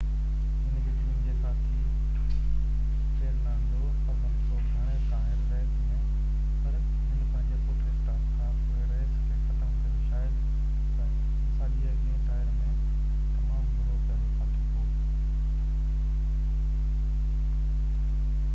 هن جي ٽيم جي ساٿي فيرنانڊو الونسو گهڻي کانهر ريس ۾ پر هن پنهنجي پٽ-اسٽاپ کان پوءِ ريس کي ختم ڪيو شايد ساڄي اڳيئن ٽائر ۾ تمام برو ڪيل ڦاٿو هو